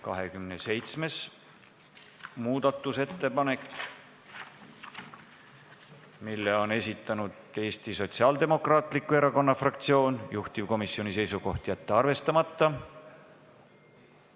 27. muudatusettepaneku on esitanud Eesti Sotsiaaldemokraatliku Erakonna fraktsioon, juhtivkomisjoni seisukoht: jätta see arvestamata.